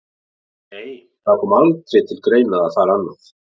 Nei, það kom aldrei til greina að fara annað.